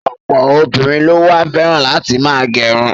Ọ̀pọ̀ obìnrin ló wá fẹ́ràn láti ma gẹrun.